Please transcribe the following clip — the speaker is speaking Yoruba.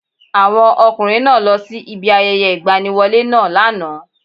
Àwọn ọkùnrin náá lọ sí ibi ayẹyẹ ìgbaniwọlé náà lánàá